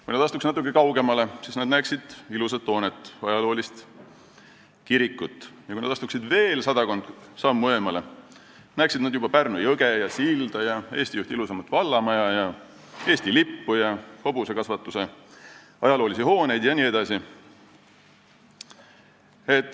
Kui nad astuks natukene kaugemale, siis nad näeksid ilusat hoonet, ajaloolist kirikut, ja kui nad astuksid veel sadakond sammu eemale, siis nad näeksid juba Pärnu jõge, silda, Eesti ühte ilusaimat vallamaja, Eesti lippu, hobusekasvanduse ajaloolisi hooneid jne.